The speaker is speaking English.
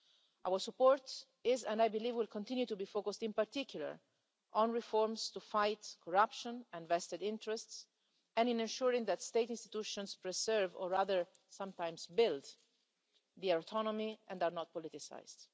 Our support is and I believe will continue to be focused in particular on reforms to fight corruption and vested interests and in ensuring that state institutions preserve, or rather sometimes build, their autonomy and are not politicised.